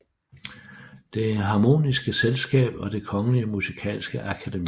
Det Harmoniske Selskab og Det Kongelige Musikalske Akademi